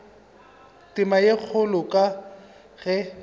tema ye kgolo ka ge